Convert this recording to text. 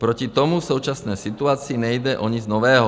Proti tomu v současné situaci nejde o nic nového.